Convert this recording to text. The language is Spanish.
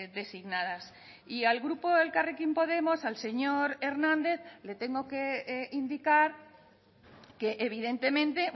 designadas y al grupo elkarrekin podemos al señor hernández le tengo que indicar que evidentemente